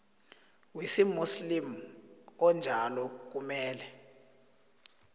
wesimuslimu onjalo kumele